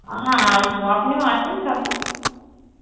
হ্যাঁ আসব আপনিও আসেন কাকু